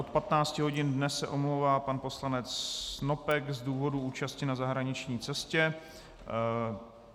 Od 15 hodin dnes se omlouvá pan poslanec Snopek z důvodu účasti na zahraniční cestě.